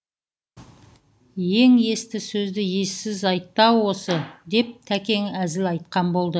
ең есті сөзді ессіз айтты ау осы деп тәкең әзіл айтқан болды